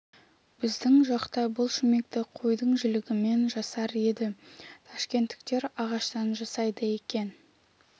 біздің жақта бұл шүмекті қойдың жілігімен жасар еді ташкенттіктер ағаштан жасайды екен